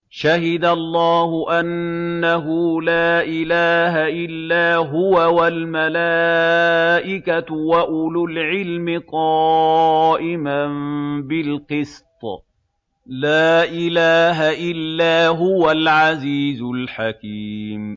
شَهِدَ اللَّهُ أَنَّهُ لَا إِلَٰهَ إِلَّا هُوَ وَالْمَلَائِكَةُ وَأُولُو الْعِلْمِ قَائِمًا بِالْقِسْطِ ۚ لَا إِلَٰهَ إِلَّا هُوَ الْعَزِيزُ الْحَكِيمُ